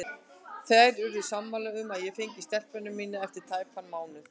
Þær urðu sammála um að ég fengi stelpuna mína eftir tæpan mánuð.